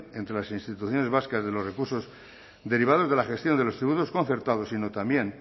entre las instituciones vascas de los recursos derivados de la gestión de los tributos concertados sino también